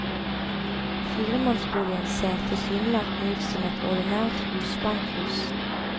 Firemannsboligen ser tilsynelatende ut som et ordinært husbankhus.